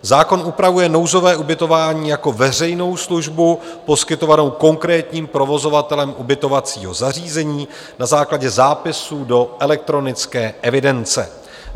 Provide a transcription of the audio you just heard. Zákon upravuje nouzové ubytování jako veřejnou službu poskytovanou konkrétním provozovatelem ubytovacího zařízení na základě zápisu do elektronické evidence.